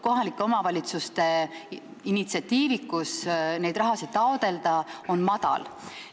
Kohalike omavalitsuste initsiatiivikus seda raha taotleda on väike.